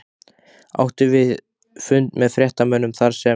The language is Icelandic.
Áttum við fund með fréttamönnum þarsem